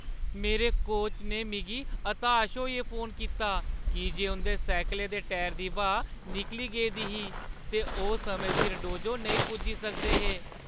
मेरे कोच ने मिगी हताश होइयै फोन कीता की जे उंʼदे साइकलै दे टायरे दी ब्हाऽ निकली गेदी ही ते ओह् समें सिर डोजो नेईं पुज्जे सकदे हे।